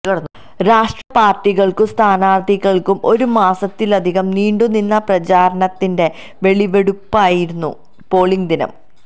രാഷ്ട്രീയ പാര്ട്ടികള്ക്കും സ്ഥാനാര്ഥികള്ക്കും ഒരു മാസത്തിലധികം നീണ്ടുനിന്ന പ്രചാരണത്തിന്റെ വിളവെടുപ്പായിരുന്നു പോളിംഗ് ദിനം